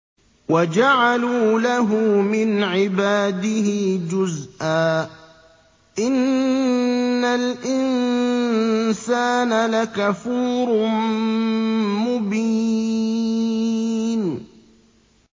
وَجَعَلُوا لَهُ مِنْ عِبَادِهِ جُزْءًا ۚ إِنَّ الْإِنسَانَ لَكَفُورٌ مُّبِينٌ